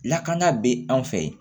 Lakana bɛ anw fɛ yen